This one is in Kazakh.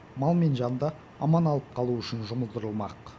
мал мен жанды аман алып қалу үшін жұмылдырылмақ